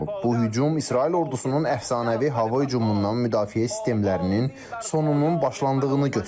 Bu hücum İsrail ordusunun əfsanəvi hava hücumundan müdafiə sistemlərinin sonunun başlandığını göstərir.